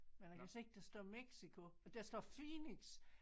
Men jeg kan se der står Mexico og der står Phoenix